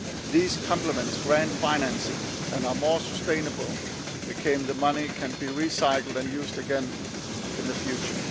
They complement grant financing and are more sustainable because the money can be recycled and used again in the future.